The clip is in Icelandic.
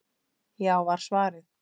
Já var svarið.